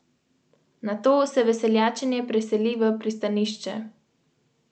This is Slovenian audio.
Ker smo seveda razviti svet, imamo letala.